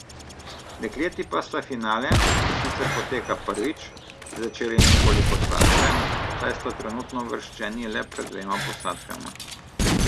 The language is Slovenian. Dekleti pa sta finale, ki sicer poteka prvič, začeli nekoliko slabše, saj sta trenutno uvrščeni le pred dvema posadkama.